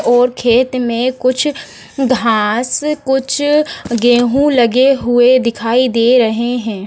और खेत में कुछ घास कुछ गेहूं लगे हुए दिखाई दे रहे हैं।